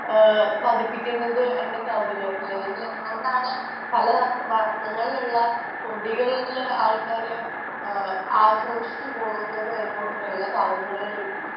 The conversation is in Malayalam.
പഠിപ്പിക്കുന്നത് കൗതുകത്തിലാണ് അല്ലെങ്കിൽ എന്തുകൊണ്ടാണ് പല വർണ്ണങ്ങളിലുള്ള കൊടികൾ എടുത്തു ജനങ്ങൾ ആഘോഷിച്ചു പോകുന്നത് എന്ന കൗതുകങ്ങളിൽ നിന്ന്